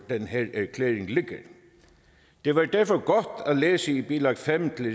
den her erklæring ligger i det var derfor godt at læse i bilag fem til